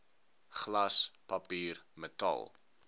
glas papier metaal